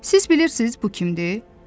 Siz bilirsiz bu kimdir?